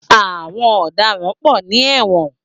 Àwọn ọ̀daràn pọ ní ẹ̀wọ̀n.